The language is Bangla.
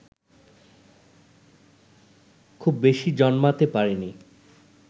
খুব বেশি জন্মাতে পারেনি